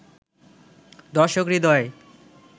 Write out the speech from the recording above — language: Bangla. দর্শক হৃদয়ে